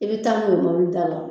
I bɛ taa n'u ye mobilida la